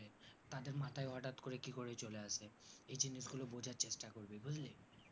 তাদের মাথায় হটাৎ করে কি করে চলে আসে এই জিনিস গুলো বোঝার চেষ্টা করবি বুজলি